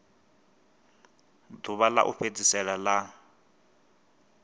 ḓuvha ḽa u fhedzisela ḽa